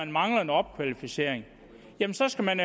mangler en opkvalificering jamen så skal man